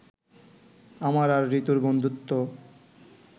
আমার আর ঋতুর বন্ধুত্ব